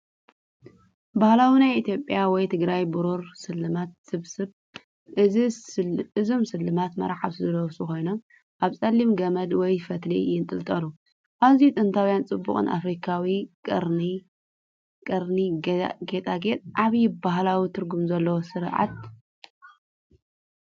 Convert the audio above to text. ባህላዊ ናይ ኢትዮጵያ ወይ ትግራይ ብሩር ስልማት ስብስብ። እዞም ስልማት መርዓውቲ ዝለብሱ ኮይኖም ኣብ ጸሊም ገመድ ወይ ፈትሊ ይንጠልጠሉ። ኣዝዩ ጥንታዊን ጽቡቕን ኣፍሪቃዊ ቀርኒ ጌጣጌጥ ዓቢ ባህላዊ ትርጉም ዘለዎ ስርዓት።